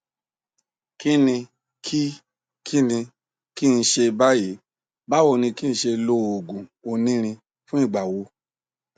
kíni kí kíni kí n ṣe báyìí báwo ni kí n ṣe lo oògùn onírin fún ìgbà wo